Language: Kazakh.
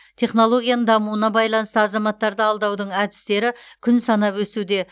технологияның дамуына байланысты азаматтарды алдаудың әдістері күн санап өсуде